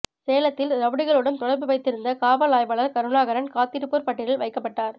சேலத்தில் ரவுடிகளுடன் தொடர்பு வைத்திருந்த காவல் ஆய்வாளர் கருணாகரன் காத்திருப்போர் பட்டியலில் வைக்கப்பட்டார்